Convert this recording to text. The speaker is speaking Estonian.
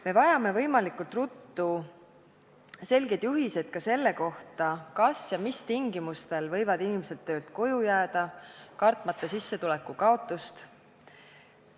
Me vajame võimalikult ruttu selgeid juhiseid ka selle kohta, kas ja mis tingimustel võivad inimesed töölt koju jääda, kartmata sissetuleku kaotust.